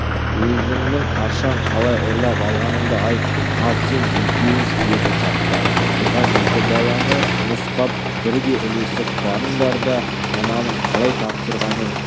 өзіңнің қашан қалай ұрлап алғаныңды айт ал сен екеуің деді сапта тұрған екі баланы нұсқап бірге ілесіп барыңдар да мынаның қалай тапсырғанын